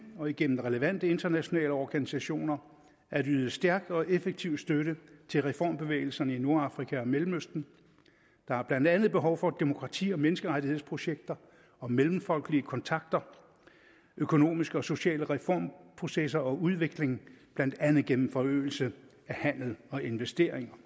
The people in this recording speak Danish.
og igennem relevante internationale organisationer at yde stærk og effektiv støtte til reformbevægelserne i nordafrika og mellemøsten der er blandt andet behov for demokrati og menneskerettighedsprojekter og mellemfolkelige kontakter økonomiske og sociale reformprocesser og udvikling blandt andet gennem forøgelse af handel og investeringer